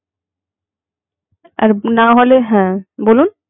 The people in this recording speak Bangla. না হলে হে বলুন